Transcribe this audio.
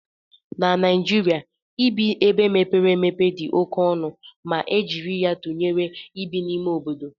Na Naịjirịa, ibi ebe mepere emepe dị oke ọnụ ma e jiri ya tụnyere ibi n'ime obodo